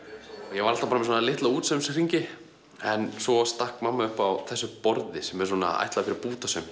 ég var alltaf bara með litla en svo stakk mamma upp á þessu borði sem er ætlað fyrir bútasaum